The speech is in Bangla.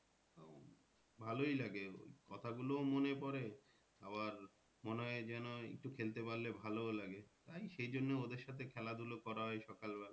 ভালোই লাগে কথা গুলোও মনে পরে আবার মনে হয় যেন একটু খেলতে পারলে ভালোও লাগে। তাই সেই জন্যে ওদের সাথে খেলা ধুলা করা হয় সকাল বেলা।